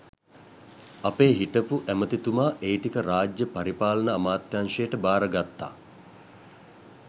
අපේ හිටපු ඇමතිතුමා ඒ ටික රාජ්‍ය පරිපාලන අමාත්‍යංශයට භාරගත්ත